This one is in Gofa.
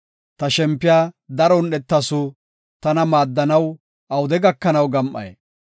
Ta shempiya daro un7etasu; tana maaddanaw awude gakanaw gam7ay?